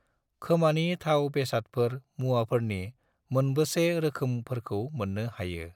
खोमानि थाव बेसादफोर मुवाफोरनि मोनबेसे रोखोमफोरखौ मोन्नो हायो?